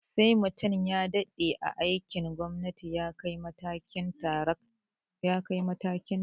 Sai mutum ya daɗe a aikin gwamnati ya ke kaiwa matakin daracta